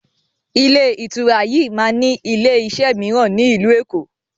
Ilé ìtura yiii máa ni ilé iṣẹ́ miran ni ilu Èkó